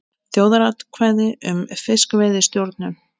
Þjóðaratkvæði um fiskveiðistjórnun